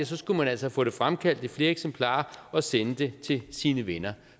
så skulle man altså få det fremkaldt i flere eksemplarer og sende det til sine venner